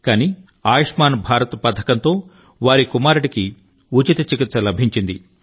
కానీ ఆయుష్మాన్ భారత్ పథకంతో వారి కుమారుడికి ఉచిత చికిత్స లభించింది